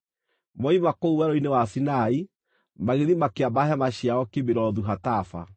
Moima kũu Werũ-inĩ wa Sinai, magĩthiĩ makĩamba hema ciao Kibirothu-Hataava.